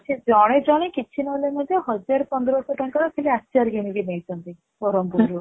ସେ ଜଣେ ଜଣେ କିଛି ନହେଲେ ମଧ୍ୟ ହଜାରେ ପନ୍ଦରସହ ଟଙ୍କା ର ଖାଲି ଆଚାର କିଣିକି ନେଇଛନ୍ତି ବ୍ରହ୍ମପୁର ରୁ